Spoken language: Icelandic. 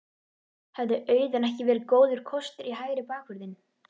Hefði Auðun ekki verið góður kostur í hægri bakvörðinn?